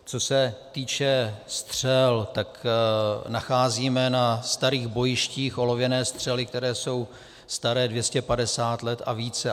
Co se týče střel, tak nacházíme na starých bojištích olověné střely, které jsou staré 250 let a více.